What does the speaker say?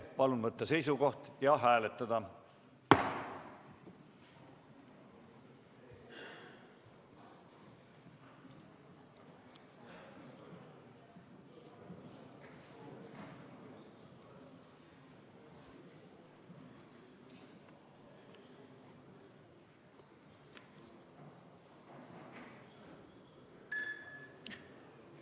Palun võtta seisukoht ja hääletada!